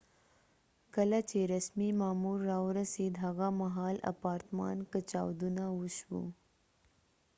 کله چې رسمی مامور راورسید هغه مهال اپارتمان کې چاودنه وشوه